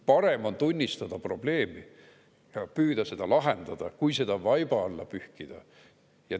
Parem on tunnistada probleemi ja püüda seda lahendada, kui seda vaiba alla pühkida.